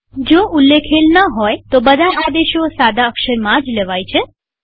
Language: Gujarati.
જ્યાં સુધી કઈ ઉલ્લેખેલ ન હોય ત્યાં સુધી બધા આદેશો સાદા અક્ષરમાં જ લેવાય છે